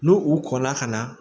N'u u kɔ la ka na